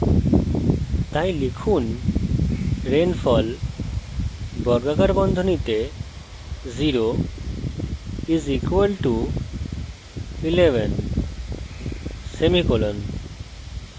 তাই লিখুন rainfall 0 = 11;